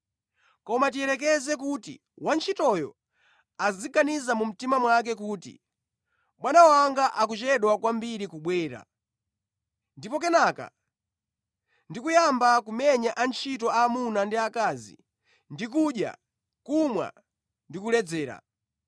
Koma tiyerekeze kuti wantchitoyo aziganiza mu mtima mwake kuti, ‘Bwana wanga akuchedwa kwambiri kubwera,’ ndipo kenaka ndi kuyamba kumenya antchito aamuna ndi aakazi ndi kudya, kumwa ndi kuledzera.